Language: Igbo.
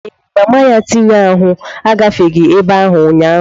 Ee, mama tinye ahụ agafeghị ebe a ụnyaahụ.